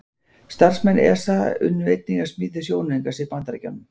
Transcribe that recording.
Starfsmenn ESA unnu einnig að smíði sjónaukans í Bandaríkjunum.